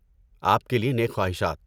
آپ کے لیے نیک خواہشات!